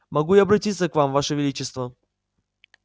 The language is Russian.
могу я обратиться к вам ваше величество